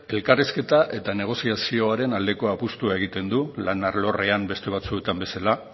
elkarrizketa eta negoziazioaren aldeko apustua egiten du lan alorrean beste batzuetan bezala